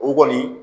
O kɔni